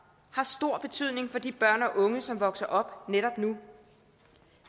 har stor betydning for de børn og unge som vokser op netop nu